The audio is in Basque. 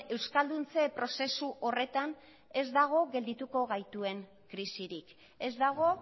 euskalduntze prozesu horretan ez dago geldituko gaituen krisirik ez dago